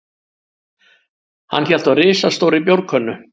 Hann hélt á risastórri bjórkönnu.